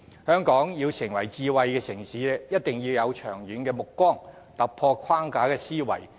香港要成為智慧城市，便一定要有長遠目光，在思維上突破既有框架。